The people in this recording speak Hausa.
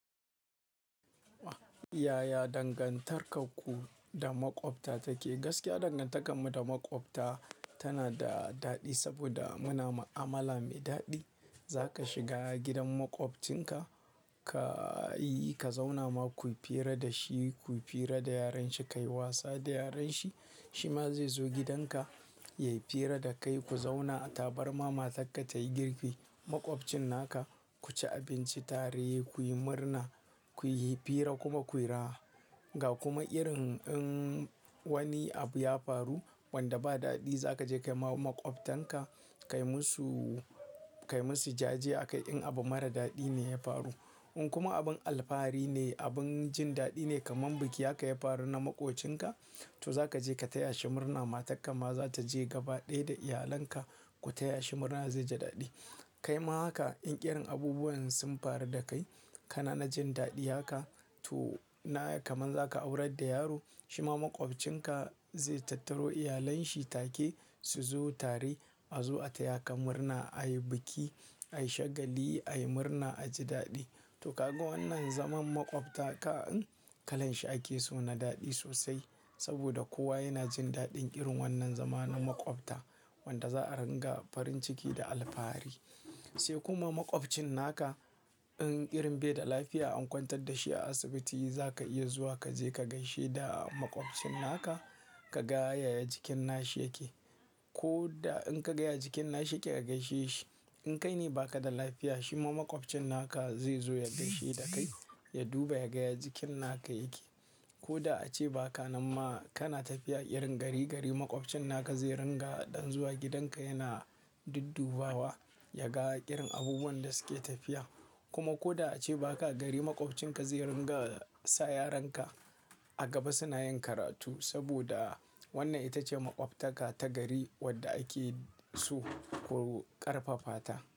Yaya dangantarku da maƙwabta take? Gaskiya dangantakarmu da maƙwabta tana da daɗi saboda muna da mu'amala mai daɗi. Za ka shiga gidan maƙwabcinka, ka yi-- ka zauna ma, kuyi fira da shi, kuyi fira da yaran shi, ka yi wasa da yaran shi. Shi ma zai zo gidanka, ya yi fira da kai, ku zauna a tabarma, matar ka tayi girki, maƙwabcin naka, ku ci abinci tare, kuyi murna, kuyi fira kuma kuyi raha. Ga kuma irin in wani abu ya faru wanda ba daɗi, za ka je kai ma maƙwabtanka, kai musu, kai musu jaje a kai in abu mara daɗi ne ya faru. In kuma abin alfahari ne, abin jin daɗi ne kaman biki aka yi faru na maƙwabcinka, to za ka je ka taya shi murna. Matarka ma za ta je gaba ɗaya da iyalanka ku taya shi murna ya ji daɗi. Kai ma haka in ƙirin abubuwan sun faru da kai kana jin daɗi haka, to na kaman za ka aurar da yaro, shi ma maƙwabcinka zai tattaro iyalanshi take su zo tare a zo a taya ka murna, a yi biki, a yi shagali, a yi murna, a ji daɗi. To ka ga wannan zaman maƙwabta kan kalan shi ake so na daɗi sosai saboda kowa yana jin daɗin irin wannan zamanin maƙwabta wanda za a ringa farin ciki da alfahari. Sai kuma maƙwabcinka in irin bai da lafiya an kwantar da shi a asibiti, za ka iya zuwa ka je ka gaishe da maƙwabcinka, ka ga yaya jikin nashi yake. Ko da in ka ga jikin nashi yake ka gaishe shi. In kai ne ba ka da lafiya, shi ma maƙwabcin naka zai zo ya gaishe da kai, ya duba ya ga jikin naka yake. Ko da ace ba ka nan ma kana tafiya irin gari gari maƙwabcin naka zai ringa ɗan zuwa gidanka yana duddubawa ya ga irin abubuwan da suke tafiya. Kuma ko da ace ba ka, gari maƙwabcinka zai ringa sa yaran ka a gaba suna yin karatu saboda wannan ita ce maƙwabtaka ta gari wadda ake so ƙarfafata.